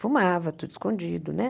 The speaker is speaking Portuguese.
Fumava, tudo escondido, né?